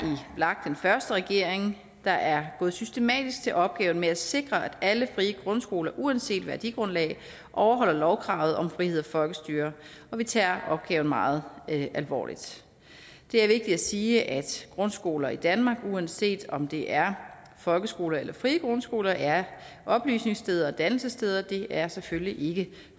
den første regering der er gået systematisk til opgaven med at sikre at alle frie grundskoler uanset værdigrundlag overholder lovkravet om frihed og folkestyre og vi tager opgaven meget alvorligt det er vigtigt at sige at grundskoler i danmark uanset om det er folkeskoler eller frie grundskoler er oplysningssteder og dannelsessteder det er selvfølgelig ikke